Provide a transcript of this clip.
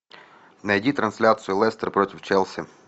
найди трансляцию лестер против челси